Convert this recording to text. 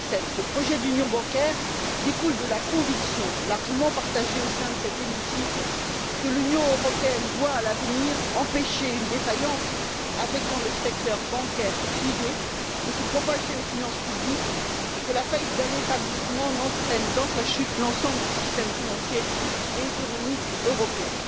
2007. Le projet d'union bancaire découle de la conviction, largement partagée au sein de cet hémicycle, que l'Union européenne doit à l'avenir empêcher qu'une défaillance affectant le secteur bancaire privé ne se propage aux finances publiques et que la faillite d'un établissement n'entraîne dans sa chute l'ensemble du système financier et économique européen.